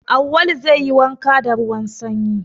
Awwalu zai yi wanka da ruwan sanyi.